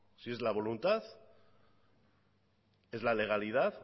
si es la voluntad es la legalidad